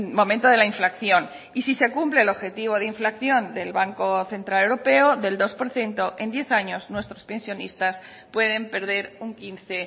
momento de la inflación y si se cumple el objetivo de inflación del banco central europeo del dos por ciento en diez años nuestros pensionistas pueden perder un quince